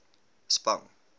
spang